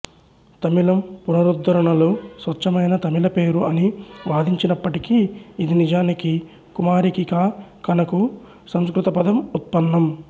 తమిళం పునరుద్ధరణలు స్వచ్ఛమైన తమిళ పేరు అని వాదించినప్పటికీ ఇది నిజానికి కుమారికికా ఖనకు సంస్కృత పదం ఉత్పన్నం